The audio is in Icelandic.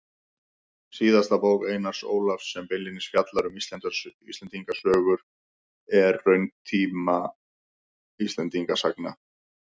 Síðasta bók Einars Ólafs sem beinlínis fjallar um Íslendingasögur er Ritunartími Íslendingasagna.